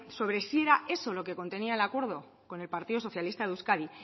sobre si era eso lo que contenía el acuerdo con el partido socialista de euskadi